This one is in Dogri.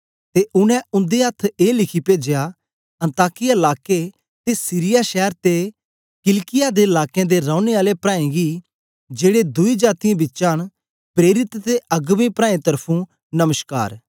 ते उनै उन्दे अथ्थ ए लिखी पेजया अन्ताकिया लाके ते सीरिया शैर ते किलिकिया दे लाकें दे रौने आले प्राऐं गी जेड़े दुई जातीयें बिचा न प्रेरित ते अगबें प्राऐं तर्फुं नमश्कार